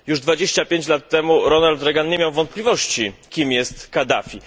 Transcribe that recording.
Już 25 lat temu Ronald Reagan nie miał wątpliwości, kim jest Kaddafi.